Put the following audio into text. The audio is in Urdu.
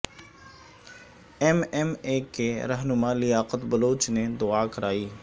ایم ایم اے کے رہنما لیاقت بلوچ نے دعا کرائی